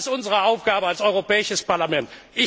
Das ist unsere Aufgabe als Europäisches Parlament.